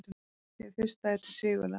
Hið fyrsta er til Sigurðar